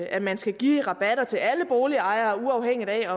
at man skal give rabatter til alle boligejere uafhængigt af